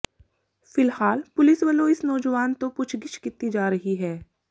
ਫਿਲਹਾਲ ਪੁਲਿਸ ਵੱਲੋਂ ਇਸ ਨੌਜਵਾਨ ਤੋਂ ਪੁੱਛਗਿੱਛ ਕੀਤੀ ਜਾ ਰਹੀ ਹੈ